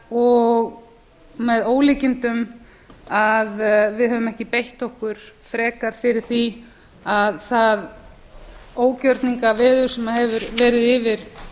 og með ólíkindum að við höfum ekki beitt okkur frekar fyrir því að það ógjörningaveður sem hefur verið yfir